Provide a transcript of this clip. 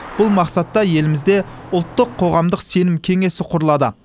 бұл мақсатта елімізде ұлттық қоғамдық сенім кеңесі құрылады